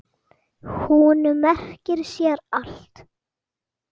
Hún merkir sér allt.